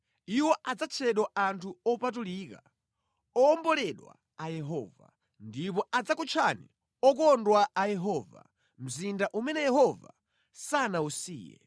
Iwo adzatchedwa Anthu Opatulika, owomboledwa a Yehova; ndipo adzakutchani “Okondwa a Yehova” “Mzinda umene Yehova sanawusiye.”